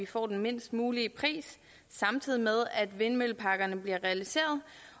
får den lavest mulige pris samtidig med at vindmølleparkerne bliver realiseret